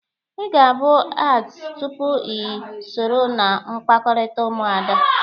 Ị ga-abụ ads tupu i soro na mkpakọrịta Ụmụada.